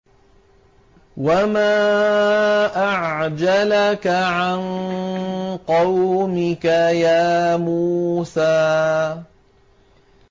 ۞ وَمَا أَعْجَلَكَ عَن قَوْمِكَ يَا مُوسَىٰ